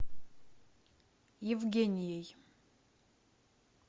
евгенией